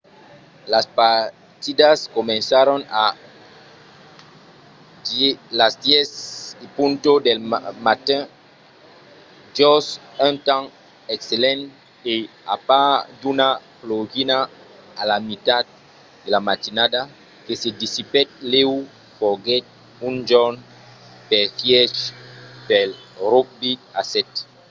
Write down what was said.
las partidas comencèron a 10:00 del matin jos un temps excellent e a part d'una plogina a la mitat de la matinada que se dissipèt lèu foguèt un jorn perfièch pel rugbi a sèt